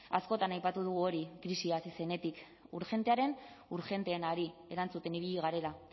askotan aipatu dugu hori krisia hasi zenetik urgentearen urgenteenari erantzuten ibili garela